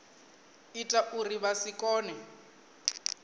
ita uri vha si kone